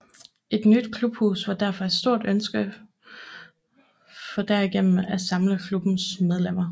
Et nyt klubhus var derfor et stort ønske for derigennem at samle klubbens medlemmer